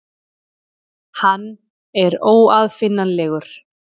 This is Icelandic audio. Hann er óaðfinnanlegur.